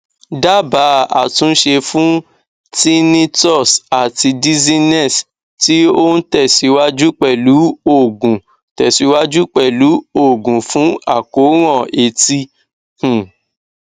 dábàá àtúnṣe fún tinnitus àti dizziness tí ó ń tẹsíwájú pẹlú òògùn tẹsíwájú pẹlú òògùn fún àkóràn etí um